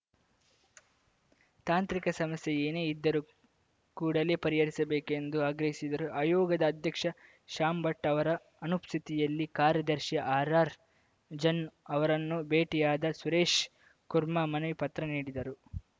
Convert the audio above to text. ತಾಂತ್ರಿಕ ಸಮಸ್ಯೆ ಏನೇ ಇದ್ದರೂ ಕೂಡಲೇ ಪರಿಹರಿಸಬೇಕು ಎಂದು ಆಗ್ರಹಿಸಿದರು ಆಯೋಗದ ಅಧ್ಯಕ್ಷ ಶ್ಯಾಮ್‌ ಭಟ್‌ ಅವರ ಅನುಪಸ್ಥಿತಿಯಲ್ಲಿ ಕಾರ್ಯದರ್ಶಿ ಆರ್‌ಆರ್‌ಜನ್ನು ಅವರನ್ನು ಭೇಟಿಯಾದ ಸುರೇಶ್‌ ಕುಮಾರ್‌ ಮನವಿ ಪತ್ರ ನೀಡಿದರು